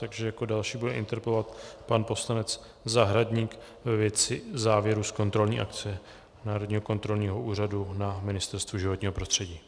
Takže jako další bude interpelovat pan poslanec Zahradník ve věci závěrů z kontrolní akce Národního kontrolního úřadu na Ministerstvu životního prostředí.